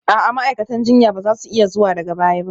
A'a, ma'aikatan jinya ba za su iya zuwa daga baya ba